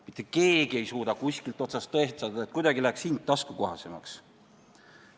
Mitte keegi ei suuda kuskilt otsast tõestada, et hind läheks kuidagi taskukohasemaks.